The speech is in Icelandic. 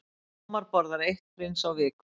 Ómar borðar eitt Prins á viku